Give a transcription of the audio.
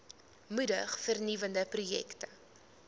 moedig vernuwende projekte